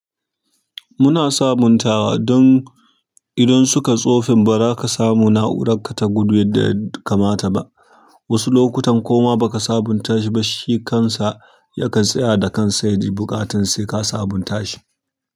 Muna sabuntawa don idan suka tsofi ba za ka samu na'urarka ta gudu yadda ya kamata ba. Wasu lokutan kuma baka sabunta shi ba, shi kansa ya kan tsaya da kansa ya yi buƙatar sai ka sabunta shi.